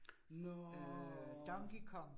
Nåh